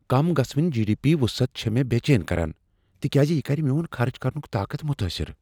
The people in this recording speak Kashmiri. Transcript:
کم گژھہٕ وٕنۍ جی۔ ڈی۔ پی وٖصعت چھےٚ مےٚ بیچین كران تکیٛازِ یہ کَرِ میون خرچ کرنُک طاقت متٲثر۔